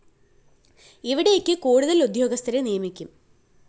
ഇവിടേക്ക് കൂടുതല്‍ ഉദ്യോഗസ്ഥരെ നിയമിക്കും